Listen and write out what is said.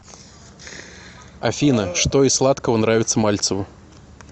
афина что из сладкого нравится мальцеву